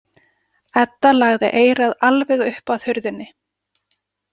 Edda lagði eyrað alveg upp að hurðinni.